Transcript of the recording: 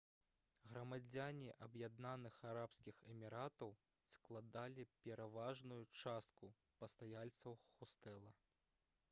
грамадзяне аб'яднаных арабскіх эміратаў складалі пераважную частку пастаяльцаў хостэла